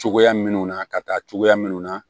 Cogoya minnu na ka taa cogoya minnu na